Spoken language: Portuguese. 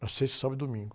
Na sexta, sábado e domingo.